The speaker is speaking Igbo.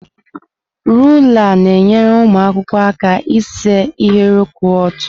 Rulaa na-enyere ụmụ akwụkwọ aka ise ahịrị kwụ ọtọ.